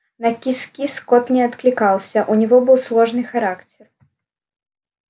на кис-кис кот не откликался у него был сложный характер